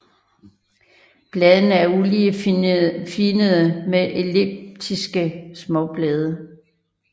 Bladene er uligefinnede med elliptiske småblade